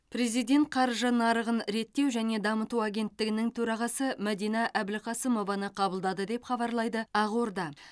президент қаржы нарығын реттеу және дамыту агенттігінің төрағасы мәдина әбілқасымованы қабылдады деп хабарлайды ақорда